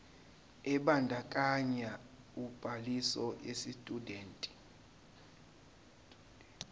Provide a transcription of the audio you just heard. ebandakanya ubhaliso yesitshudeni